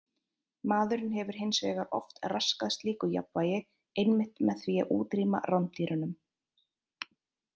Maðurinn hefur hins vegar oft raskað slíku jafnvægi einmitt með því að útrýma rándýrunum.